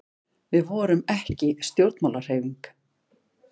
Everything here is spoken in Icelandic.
við vorum ekki stjórnmálahreyfing